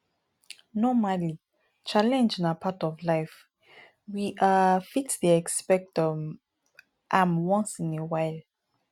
normally challenge na part of life we um fit dey excpect um am once in a while